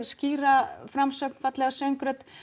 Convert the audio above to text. skýra framsögn fallega söngrödd